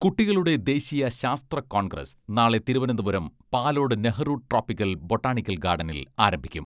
കുട്ടികളുടെ ദേശീയ ശാസ്ത്ര കോൺഗ്രസ് നാളെ തിരുവനന്തപുരം പാലോട് നെഹ്റു ട്രോപിക്കൽ ബൊട്ടാണിക്കൽ ഗാർഡനിൽ ആരംഭിക്കും.